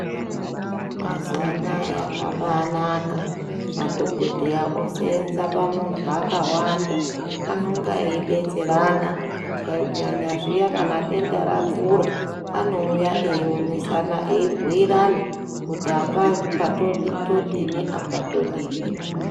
Mazuva anaya zvabaanaka , madhokodheya oseenze pamuntu akawanda , anenge eidetserana kunyanya zviye kana denda rakura anouya eionesana eibhuyirana kuti apapa todini apa todini.